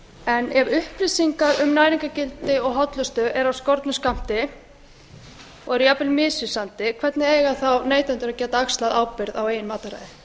en ef upplýsingar um næringargildi og hollustu eru af skornum skammti og eru jafnvel misvísandi hvernig eiga þá neytendur að geta axlað ábyrgð á eigin mataræði dæmi eru